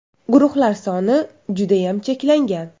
Guruhlar soni judayam cheklangan !